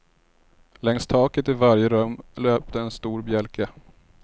Längs taket i varje rum löpte en stor bjälke.